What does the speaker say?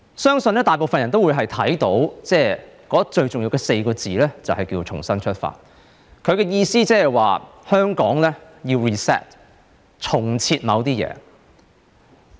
相信大部分人都會認為最重要的4個字，就是"重新出發"。她的意思是，香港要 reset， 重設某些事。